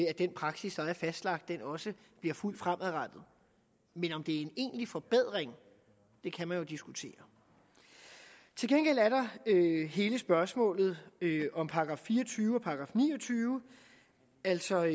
at den praksis der er fastlagt også bliver fulgt fremadrettet men om det er en egentlig forbedring kan man jo diskutere til gengæld er der hele spørgsmålet om § fire og tyve og § ni og tyve altså